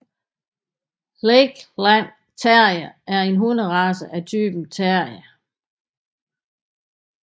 Lakeland Terrier er en hunderace af typen terrier